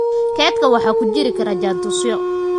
Kaydka waxa ku jiri kara jaantusyo